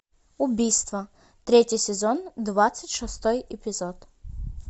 убийство третий сезон двадцать шестой эпизод